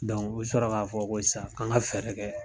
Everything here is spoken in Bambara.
u bi sɔrɔ ka fɔ ko sisan an ka fɛɛrɛ kɛ